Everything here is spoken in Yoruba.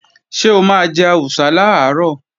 Ṣé o máa jẹ àwùsá làárọ̀?